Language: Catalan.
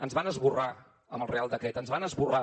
ens van esborrar amb el real decret ens van esborrar